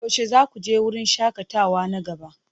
Yaushe za ku je wurin shakatawa na gaba?